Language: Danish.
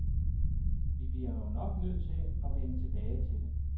Vi er jo nok nødt til at vende tilbage det.